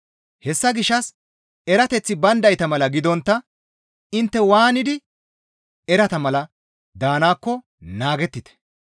Hessa gishshas erateththi bayndayta mala gidontta intte waanidi erata mala daanaakko naagettite.